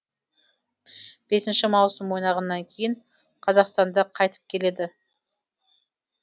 бесінші маусым ойнағаннан кейін қазақстанда қайтып келеді